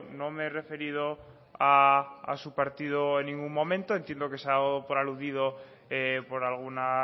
no me he referido a su partido en ningún momento entiendo que se ha dado por aludido por alguna